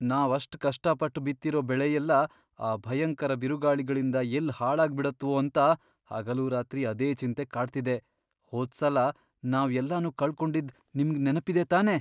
ನಾವ್ ಅಷ್ಟ್ ಕಷ್ಟಪಟ್ಟ್ ಬಿತ್ತಿರೋ ಬೆಳೆಯೆಲ್ಲ ಆ ಭಯಂಕರ ಬಿರುಗಾಳಿಗಳಿಂದ ಎಲ್ಲ್ ಹಾಳಾಗ್ಬಿಡತ್ವೋ ಅಂತ ಹಗಲೂರಾತ್ರಿ ಅದೇ ಚಿಂತೆ ಕಾಡ್ತಿದೆ. ಹೋದ್ಸಲ ನಾವ್ ಎಲ್ಲನೂ ಕಳ್ಕೊಂಡಿದ್ದ್ ನಿಮ್ಗ್ ನೆನ್ಪಿದೆ ತಾನೇ?